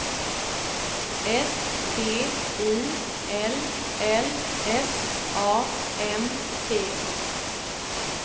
S T I L L S A M T